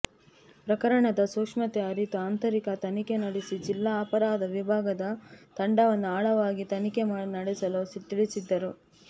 ಪ್ರಕರಣದ ಸೂಕ್ಷ್ಮತೆ ಅರಿತು ಆಂತರಿಕ ತನಿಖೆ ನಡೆಸಿ ಜಿಲ್ಲಾ ಅಪರಾಧ ವಿಭಾಗದ ತಂಡವನ್ನು ಆಳವಾಗಿ ತನಿಖೆ ನಡೆಸಲು ತಿಳಿಸಿದ್ದರು